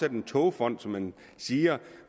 en togfond som man siger